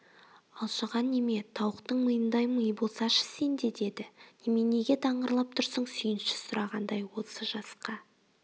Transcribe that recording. алжыған неме тауықтың миындай ми болсашы сенде деді неменеге даңғырлап тұрсың сүйінші сұрағандай осы жасқа